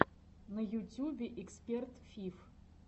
на ютюбе эксперт фиф